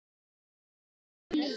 Þyngri en blý.